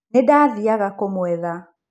Nĩ ndaathiaga kũmwetha.